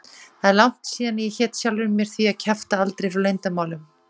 Það er langt síðan ég hét sjálfri mér því að kjafta aldrei frá leyndarmálum.